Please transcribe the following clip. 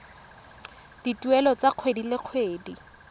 dituelo tsa kgwedi le kgwedi